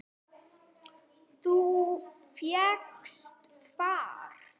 Þú fékkst far?